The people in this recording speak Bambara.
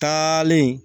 Taalen